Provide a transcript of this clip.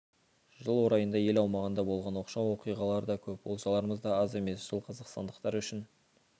жыл орайында ел аумағында болған оқшау оқиғалар да көп олжаларымыз да аз емес жыл қазақстандықтар үшін